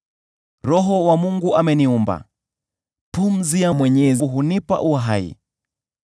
Roho wa Mungu ameniumba; pumzi ya Mwenyezi hunipa uhai.